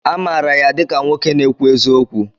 Amaara ya dịka nwoke na-ekwu eziokwu?